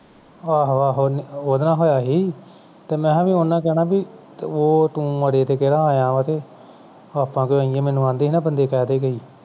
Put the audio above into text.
ਆਹੋ-ਆਹੋ ਉਹਦੇ ਨਾਲ ਹੋਇਆ ਸੀ ਤੇ ਮੈਂ ਕਿਹਾ ਉਨ੍ਹਾਂ ਨੇ ਕਹਿਣਾ ਬਈ ਤੇ ਉਹ ਤੂੰ ਮਰੇ ਤੇ ਕਿਹੜਾ ਆਇਆ ਵਾਂ ਤੇ ਆਪਾਂ ਕਿਉਂ ਆਈਏਂ ਮੈਨੂੰ ਕਹਿੰਦੇ ਸੀ ਨਾ ਬੰਦੇ ਕਈ